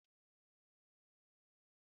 Ána m abịa